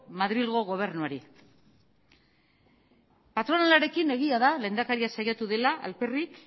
madrilgo gobernuari patronalarekin egia da lehendakaria saiatu dela alperrik